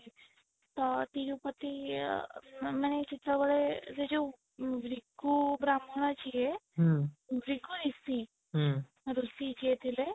ତ ତିରୁପତି ଇ ମାନେ ଯେତେବେଳେ ସେ ଯୋଉ ରିକୁ ବ୍ରାହ୍ମଣ ଯିଏ ଋଷି ଯିଏ ଥିଲେ